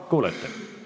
Kuulete?